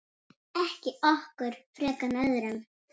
Ekki okkur frekar en öðrum.